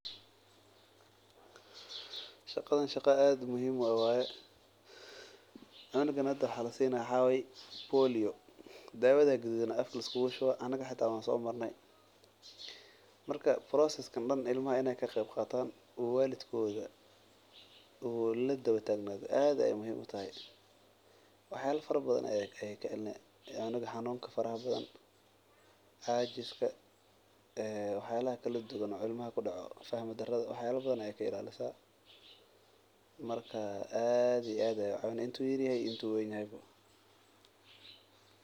Shaqadan shaqa aad muhiim u ah waye cunug waxa lasiinayo waa polio afka ayaa loogu shubi haaya anaga xitaa waan soo Marne aad iyo aad ayeey muhiim utahay aad iyo aad ayeey ucawineysa inta uu yar yahay iyo marki uu weynado.